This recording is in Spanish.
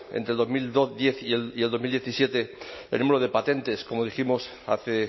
entre el dos mil diez y el dos mil diecisiete tenemos el número de patentes como dijimos hace